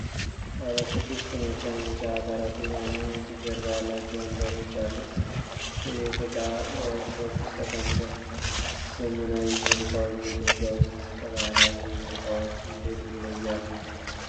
ባለ ስድስት መቀመጫ፣ ጥቁር ጠረጴዛና ነጭ ጀርባ ያላቸው ወንበሮች ያሉት የቤት ዕቃ በዎርክሾፕ ውስጥ ተቀምጧል። ዘመናዊ የቤት ዕቃዎች በኢትዮጵያ ውስጥ ከባህላዊ የቤት ዕቃዎች እንዴት ይለያሉ?